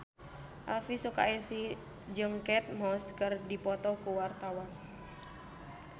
Elvy Sukaesih jeung Kate Moss keur dipoto ku wartawan